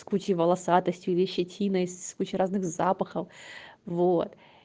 включи волосатостью ли щетиной с кучей разных запахов вот